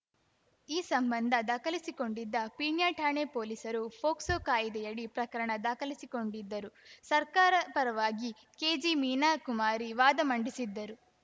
ಈ ಸಂಬಂಧ ದಾಖಲಿಸಿಕೊಂಡಿದ್ದ ಪೀಣ್ಯ ಠಾಣೆ ಪೊಲೀಸರು ಪೋಕ್ಸೊ ಕಾಯ್ದೆಯಡಿ ಪ್ರಕರಣ ದಾಖಲಿಸಿಕೊಂಡಿದ್ದರು ಸರ್ಕಾರ ಪರವಾಗಿ ಕೆಜೆಮೀನಾಕುಮಾರಿ ವಾದ ಮಂಡಿಸಿದ್ದರು